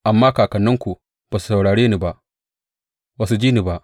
Amma kakanninku ba su saurare ni ba, ba su ji ni ba.